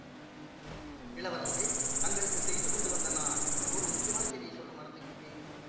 இளவரசே தங்களுக்கு செய்தி கொண்டு வந்த நான் ஒரு முக்கியமான செய்தியை சொல்ல மறந்துவிட்டேன்